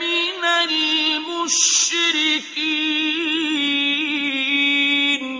مِنَ الْمُشْرِكِينَ